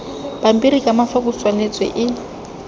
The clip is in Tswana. pampiri ka mafoko tswaletswe e